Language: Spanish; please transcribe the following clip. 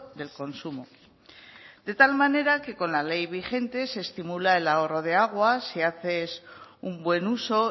del consumo de tal manera que con la ley vigente se estimula el ahorro de agua si haces un buen uso